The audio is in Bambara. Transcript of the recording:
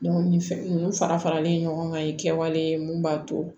ni fɛn ninnu fara faralen ɲɔgɔn kan i ye kɛwale mun b'a to